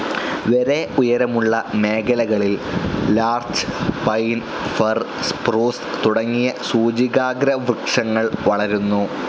വരെ ഉയരമുള്ള മേഖലകളിൽ ലാർച്ച്‌, പൈൻ, ഫർ, സ്‌പ്രൂസ്‌ തുടങ്ങിയ സൂചികാഗ്രവൃക്ഷങ്ങൾ വളരുന്നു.